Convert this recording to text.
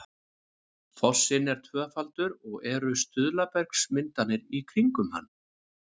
fossinn er tvöfaldur og eru stuðlabergsmyndanir í kringum hann